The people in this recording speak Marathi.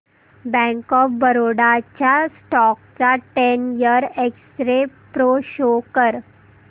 बँक ऑफ बरोडा च्या स्टॉक चा ten year X ray pro show कर